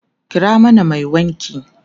kira mana Mai wanki!